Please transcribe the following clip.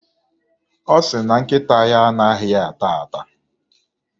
Ọ sị na nkịta ya anaghị ata ata.